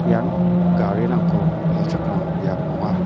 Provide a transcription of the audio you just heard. ian garirangko palchakram biap ong·a.